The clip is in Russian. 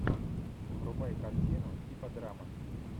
врубай картину типа драмы